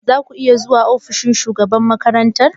Za ku iya zuwa ofishin shugaban makarantar?